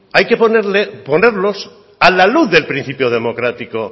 hay que ponerlos a la luz del principio democrático